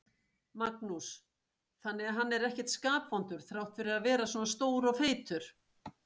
Magnús: Þannig að hann er ekkert skapvondur þrátt fyrir að vera svona stór og feitur?